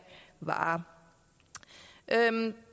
varer